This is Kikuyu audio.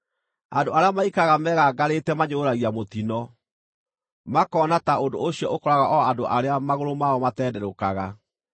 Andũ arĩa maikaraga megangarĩte manyũrũragia mũtino, makona ta ũndũ ũcio ũkoraga o andũ arĩa magũrũ mao matenderũkaga.